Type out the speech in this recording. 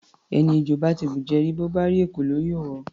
Ẹni ejò bá ti bùjẹ rí, bó bá rí ekòló, yóò họ.